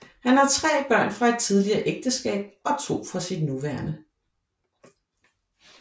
Han har tre børn fra et tidligere ægteskab og to fra sit nuværende